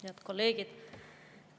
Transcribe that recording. Head kolleegid!